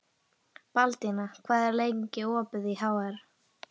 Baldína, hvað er lengi opið í HR?